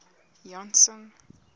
janson